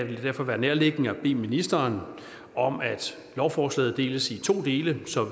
vil det derfor være nærliggende at bede ministeren om at lovforslaget deles i to dele så